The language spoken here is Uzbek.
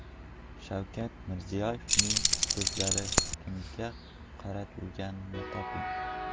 Shavkat Mirziyoyevning so‘zlari kimga qaratilganini toping.